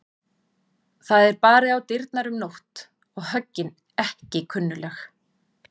Það er barið á dyrnar um nótt og höggin ekki kunnugleg.